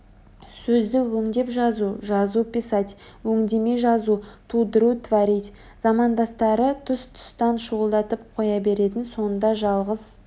сөзді өңдеп жазу жазу писать өңдемей жазу тудыру творить замандастары тұс-тұстан шуылдап қоя беретін сонда жалғыз